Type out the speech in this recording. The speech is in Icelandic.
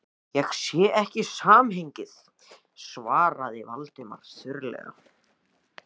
Ég sé ekki samhengið- svaraði Valdimar þurrlega.